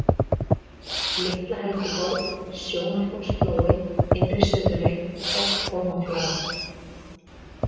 Litla-Helguborg, Sjónarhólsflói, Innri-Suðurey, Bálkhólmaflaga